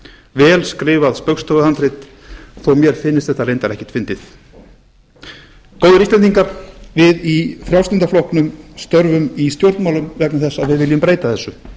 vel skrifað spaugstofuhandrit þó mér finnist þetta reyndar ekkert fyndið góðir íslendingar við í frjálslynda flokknum störfum í stjórnmálum vegna þess að við viljum breyta þessu